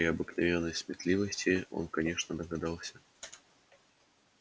при обыкновенной своей сметливости он конечно догадался что пугачёв был им недоволен